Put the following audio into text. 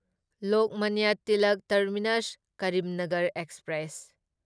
Lokmanya Tilak terminus Karimnagar express